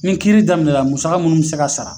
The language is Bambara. Ni kiiri daminɛ na musaka munnu bɛ se ka sara